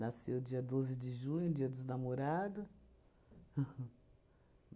dia doze de junho, dia dos namorado